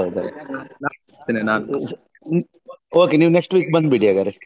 Okay ನೀವ್ next ಬಂದ್ಬಿಡಿ ಹಾಗಾದ್ರೆ